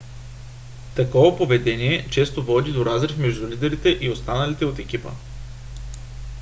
такова поведение често води до разрив между лидерите и останалите от екипа